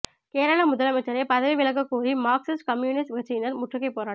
கேரள முதலமைச்சரை பதவி விலகக்கோரி மார்க்சிஸ்டு கம்யூனிஸ்ட் கட்சியினர் முற்றுகை போராட்டம்